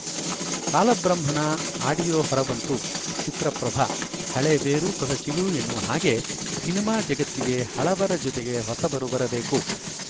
ಕಾಲ ಬ್ರಹ್ಮನ ಆಡಿಯೋ ಹೊರ ಬಂತು ಚಿತ್ರ ಪ್ರಭ ಹಳೇ ಬೇರು ಹೊಸ ಚಿಗುರು ಎನ್ನುವ ಹಾಗೆ ಸಿನಿಮಾ ಜಗತ್ತಿಗೆ ಹಳಬರ ಜತೆಗೆ ಹೊಸಬರು ಬರಬೇಕು